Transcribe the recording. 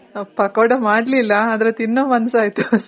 ಪಕ್ಕೋಡ ಮಾಡ್ಲಿಲ್ಲ. ಆದ್ರೆ ತಿನ್ನೋ ಮನ್ಸ್ ಆಯ್ತು ಅಷ್ಟೆ